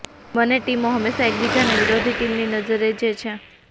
બંને ટીમો હંમેશા એકબીજાને વિરોધી ટીમની નજરે જે છે